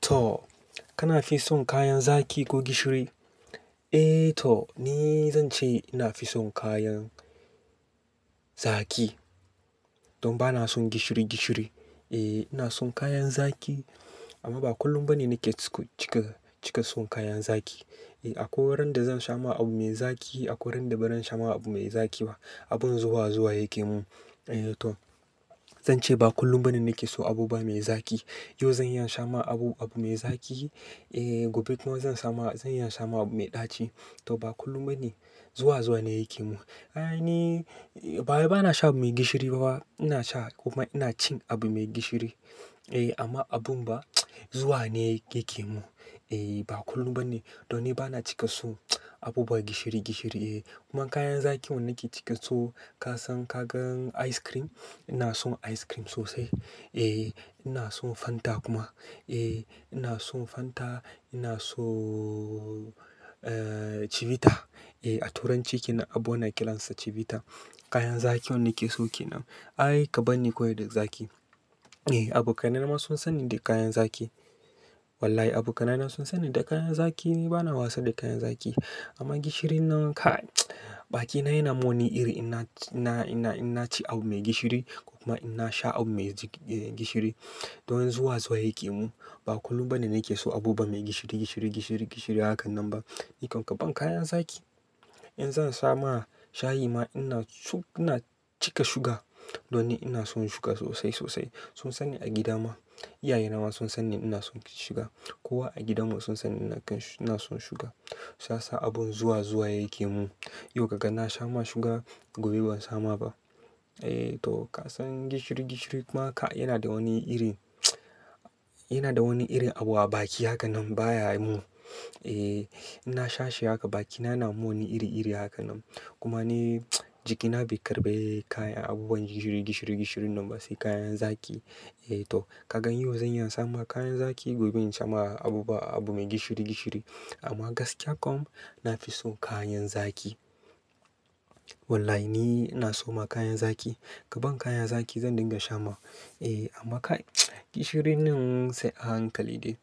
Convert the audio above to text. To, kana fi son kayan zaki ko gishiri? Eh, to ni, zan ce ina fi son kayan zaki. Don ba na son gishiri gishiri. Eh ina son kayan zaki amma ba kullum bane nake cika, cika son kayan zaki. Eh akwai wurin da zan sha ma abu mai zaƙi akwai wurin da ba zan sha ma abu mai zaƙi ba. Abun zuwa zuwa yake mun. Eh to, zan ce ba kullum bane nake so abu ba mai zaki. Yau zan iya in sha ma abu, abu mai zaƙi, eh gobe kuma zan samu, zan iya in sha ma abu mai ɗaci. To ba kullum bane. Zuwa zuwa ne yake mun. Ai ni, bawai ba na shan abu mai gishiri bafa. Ina sha kuma ina cin abu mai gishiri. Eh amma abun ba, zuwa ne yake mun. Eh ba kullum bane. Don ni bana cika so abubuwa gishiri gishiri eh. Kuma kayan zaƙi wanda nake cika so kasan, kagan ice cream? Ina son ice cream sosai. Eh ina son Fanta kuma. Eh ina son Fanta, ina sooo eh Chivita. Eh a turanci kenan abun ana kiransa Chivita. Kayan zaƙi wanda nike so kenan. Ai ka bani kawai da zaki. Eh abokanai na ma sun san ni da kayan zaki. Wallahi abokanai na sun sani da kayan zaƙi ni bana wasa da kayan zaƙi. Amma gishirin nan kai, bakina yana mun iri ina, ina, ina, ina ci abu mai gishiri kuma ina sha abu mai gishiri. Don zuwa zuwa yake mun. Ba kullum bane nake so abubuwa mai gishiri gishiri gishiri gishiri hakan nan ba. Ni kam kaban kayan zaki. In zan samu shayi ma ina, ina cika sugar. Don ni ina son shuga sosai sosai. Sun sani a gida ma. Iyaye na ma sun sani ina son shuga. Kowa a gidana sun sanni ina son shuga. Sasa abun zuwa zuwa yake mun. Yau ka ga na sha ma shuga gobe ban sha ma ba. Eh to kasan gishiri gishiri kuma kai yana da wani irin, ya na da wani irin abu a baki haka ba ya mun. Eh ina sha shi haka bakina yana mun wani iri iri hakan nan. Kuma ni jikina bai karɓe kayan abubuwan gishiri gishiri gishiri nan ba sai kayan zaƙi. Eh to kagan yau zan iya in sha ma kayan zaƙi gobe in sha ma abubuwa abu mai gishiri gishiri. Amma gaskiya kam na fi so kayan zaƙi. Wallahi ni ina so ma kayan zaki. Ka ban kayan zaƙi zan dinga sha ma. Eh amma kai gishirin nan sai a hankali dai.